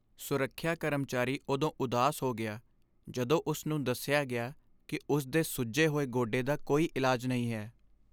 ਸੁਰੱਖਿਆ ਕਰਮਚਾਰੀ ਉਦੋਂ ਉਦਾਸ ਹੋ ਗਿਆ ਜਦੋਂ ਉਸ ਨੂੰ ਦੱਸਿਆ ਗਿਆ ਕਿ ਉਸ ਦੇ ਸੁੱਜੇ ਹੋਏ ਗੋਡੇ ਦਾ ਕੋਈ ਇਲਾਜ ਨਹੀਂ ਹੈ।